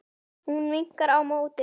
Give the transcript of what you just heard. Hún vinkar á móti.